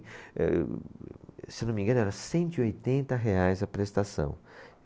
Eh, eu, se eu não me engano era cento e oitenta reais a prestação.